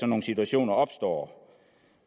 nogle situationer opstår